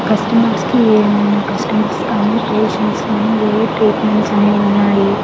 Customers కి ఏమైనా customers కానీ పేషెంట్స్ కానీ ఏ ఏ ట్రీట్మెంట్స్ అని ఉన్నాయి.